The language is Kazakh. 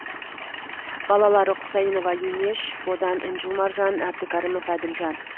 балалары құсайынова инеш бодан інжу маржан әбдікәрімов әділжан